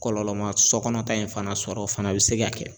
Kɔlɔlɔ man sokɔnɔ ta in fana sɔrɔ o fana bɛ se ka kɛ.